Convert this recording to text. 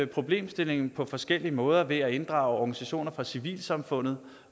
problemstillingen på forskellige måder ved at inddrage organisationer fra civilsamfundet